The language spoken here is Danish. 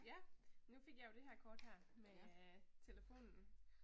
Ja. Nu fik jeg jo det her kort her med telefonen